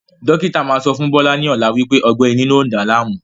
Dókítà máa sọ fún Bọlá ni ọ̀la wípé ọgbẹ́ inú lọ ń dá láàmú